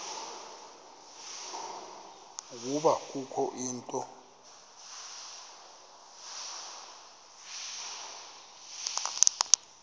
ukuba kukho into